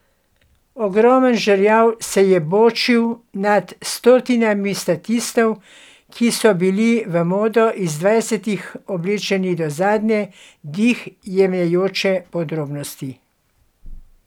Ogromen žerjav se je bočil nad stotinami statistov, ki so bili v modo iz dvajsetih oblečeni do zadnje, dih jemajoče podrobnosti.